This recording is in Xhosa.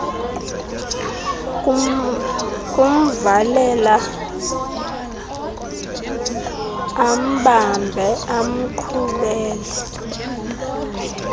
kumvalela ambambe amqhubele